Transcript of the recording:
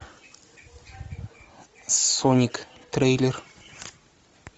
соник трейлер